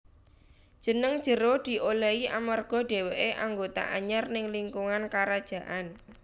Jeneng Jero diolehi amarga dheweké anggota anyar ning lingkungan karajaan